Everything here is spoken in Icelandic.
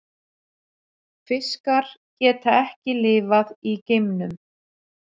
Fiskar geta ekki lifað í geimnum.